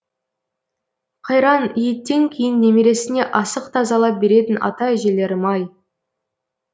қайран еттен кейін немересіне асық тазалап беретін ата әжелерім ай